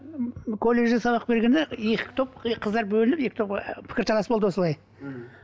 ммм колледжде сабақ бергенде екі топ и қыздар бөлініп екі топқа пікірталас болды осылай мхм